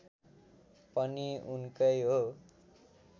पनि उनकै हो